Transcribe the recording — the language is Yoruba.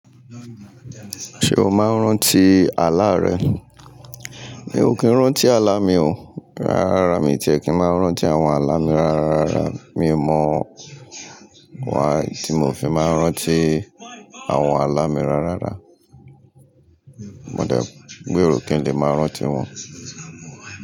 Ṣé o máa ń rántí àlá rẹ? Mi ò kí ń rántí àlá mi o, rárá rárá mi ò tí ì kí ń máa ń rántí àwọn àlá mi rárá rárá rárá, mi ò mọ why tí mò fi máa ń rántí àwọn àlá mi rárárá. Mo dẹ̀ gbéro kí ń lè máa rántí wọn.